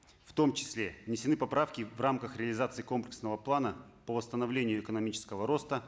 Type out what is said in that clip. в том числе внесены поправки в рамках реализации комплексного плана по восстановлению экономического роста